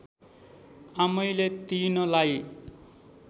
आमैले तिनलाई